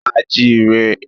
A jí i re.